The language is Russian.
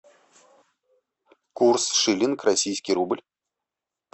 курс шиллинг российский рубль